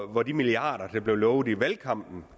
om hvor de milliarder der blev lovet i valgkampen